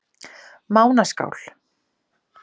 Mánaskál